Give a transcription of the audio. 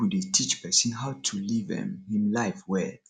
bible dey teach pesin how to live um im life well